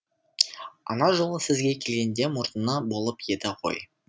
ана жолы сізге келгенде мұрны болып еді ғой